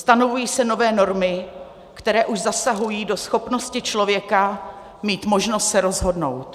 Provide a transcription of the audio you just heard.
Stanovují se nové normy, které už zasahují do schopnosti člověka mít možnost se rozhodnout.